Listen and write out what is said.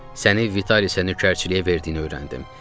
Səni Vitaliyə səni nökərçiliyə verdiyini öyrəndim.